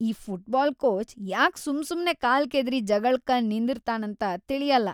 ಈ football coach ಯಾಕ್‌ ಸುಮ್ಸುಮ್ನೆ ಕಾಲ್ ಕೆದರಿ ಜಗಳ್ಕ ನಿಂದ್ರತಾನಂತ ತಿಳಿಯಲ್ಲಾ.